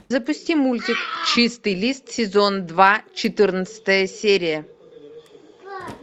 запусти мультик чистый лист сезон два четырнадцатая серия